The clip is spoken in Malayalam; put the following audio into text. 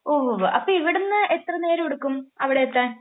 ഓഹ്. അപ്പോ ഇവിടെന്ന് എത്ര നേരം എടുക്കും അവിടെ എത്താൻ?